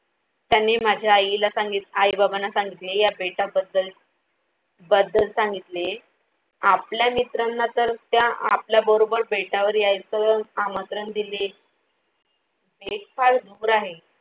त्यांनी माझ्या आईला सांगितल आई-बाबांना सांगितले या बेटा बद्दल बद्दल सांगितले. आपल्या मित्रांना तर त्या आपल्या बरोबर बेटावर यायचं आमंत्रण दिले हे फार दूर आहे